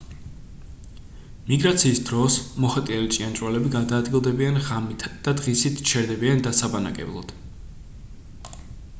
მიგრაციის დროს მოხეტიალე ჭიანჭველები გადაადგილდებიან ღამით და დღისით ჩერდებიან დასაბანაკებლად